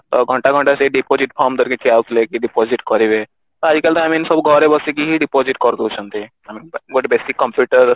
ତ ଘଣ୍ଟା ଘଣ୍ଟା ସେଇ deposit form ଧରିକି ଠିଆ ହଉଥିଲେ କି deposit କରିବେ ତ ଆଜିକାଲି ତ I mean ସବୁ ଘରେ ବସିକି ହି deposit କରିଦଉଛନ୍ତି I mean ଗୋଟେ basic computer